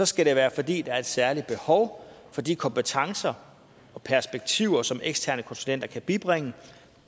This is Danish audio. skal det være fordi der er et særligt behov for de kompetencer og perspektiver som eksterne konsulenter kan bibringe